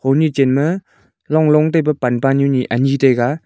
honu chen ma long long ani taiga.